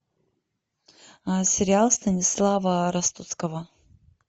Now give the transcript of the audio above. сериал станислава ростоцкого